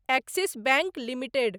axis bank limited